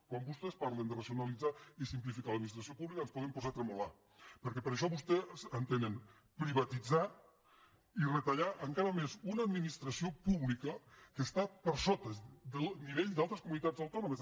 quan vostès parlen de racionalitzar i simplificar l’administració pública ja ens podem posar a tremolar perquè per això vostès entenen privatitzar i retallar encara més una administració pública que està per sota del nivell d’altres comunitats autònomes